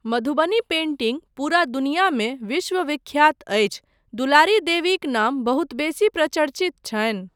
Madhubani painting पुरा दुनियामे विश्वविख्यात अछि, दुलारी देवीक नाम बहुत बेसी प्रचर्चित छनि।